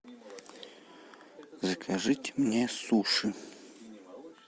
закажите мне суши